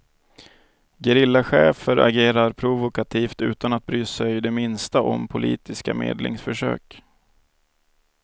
Gerillachefer agerar provokativt utan att bry sig det minsta om politiska medlingsförsök.